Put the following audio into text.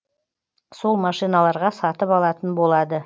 сол машиналарға сатып алатын болады